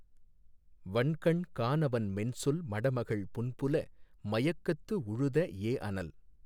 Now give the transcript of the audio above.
வன்கண் கானவன் மென்சொல் மடமகள் புன்புல மயக்கத்து உழுத ஏஅனல்